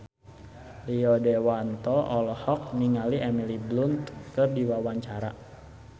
Rio Dewanto olohok ningali Emily Blunt keur diwawancara